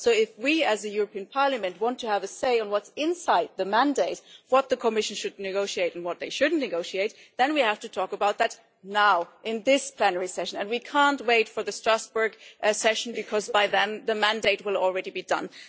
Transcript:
So if we as a European Parliament want to have a say on what's inside the mandate what the Commission should negotiate and what they shouldn't negotiate then we have to talk about that now, in this plenary session, and we can't wait for the Strasbourg session, because by then the mandate will already be done.